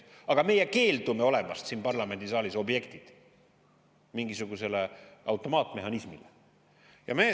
Aga meie keeldume olemast siin parlamendisaalis objektid mingisugusele automaatmehhanismile.